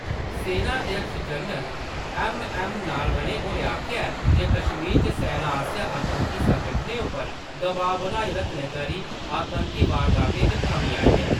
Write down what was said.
सेना अध्यक्ष general MM. नारवणें होरें आखेआ ऐ जे कश्मीर च सेना आसेआ आतंकी संगठनें उप्पर दबाऽ बनाई रक्खने करी आतंकी वारदातें च कमी आई ऐ।